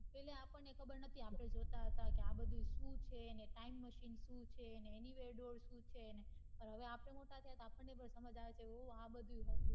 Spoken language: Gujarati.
એટલે આપડ ને ખબર નથી આપડે જોતા તા હતા કે આ બઘુ શું છે time machine શું છે anivar door શું છે હવે આપડે મોટા થયા એટલે આપડ ને પન સમજ આવે છે ઓ આ બઘુ હતું